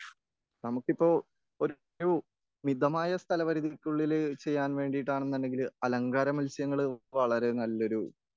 നമുക്കിപ്പോൾ ഒരു മിതമായ സ്ഥല പരിതിക്കുള്ളിൽ ചെയ്യാൻ വേണ്ടീട്ടാണുണ്ടെങ്കിൽ അലങ്കാര മത്സ്യങ്ങൾ വളരെ നല്ലൊരു